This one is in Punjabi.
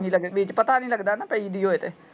ਵਿੱਚ ਪਤਾ ਨੀ ਲੱਗਦਾ ਨਾ ਪਈ ਦੀ ਹੋਵੇ ਤੇ।